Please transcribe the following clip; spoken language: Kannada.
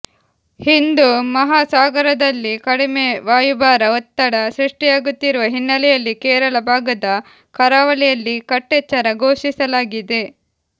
ಹಿಂದೂ ಮಹಾಸಾಗರದಲ್ಲಿ ಕಡಿಮೆ ವಾಯುಭಾರ ಒತ್ತಡ ಸೃಷ್ಟಿಯಾಗುತ್ತಿರುವ ಹಿನ್ನೆಲೆಯಲ್ಲಿ ಕೇರಳ ಭಾಗದ ಕರಾವಳಿಯಲ್ಲಿ ಕಟ್ಟೆಚ್ಚರ ಘೋಷಿಸಲಾಗಿದೆ